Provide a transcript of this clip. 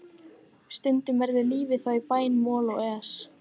Stundum verður lífið þá í bæði moll og es.